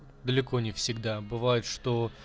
далеко не всегда бывает что